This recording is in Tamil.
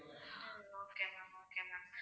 um okay ma'am okay ma'am